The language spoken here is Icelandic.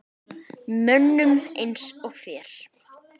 Mönnum eins og þér?